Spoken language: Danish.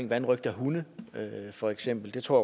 vanrøgt af hunde for eksempel det tror